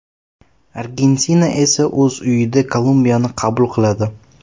Argentina esa o‘z uyida Kolumbiyani qabul qiladi.